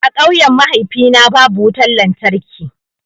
A ƙauyen mahaifina babu wutan lantarki.